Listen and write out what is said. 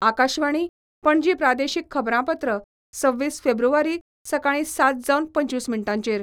आकाशवाणी, पणजी प्रादेशीक खबरांपत्र सव्वीस फेब्रुवारी, सकाळी सात जावन पंचवीस मिनटांचेर